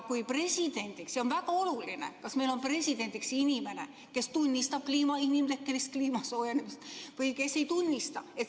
See on väga oluline, kas meil on presidendiks inimene, kes tunnistab inimtekkelist kliima soojenemist või kes ei tunnista.